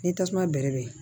Ni tasuma bɛrɛ bɛn